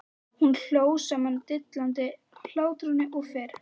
Hún hló sama dillandi hlátrinum og fyrr.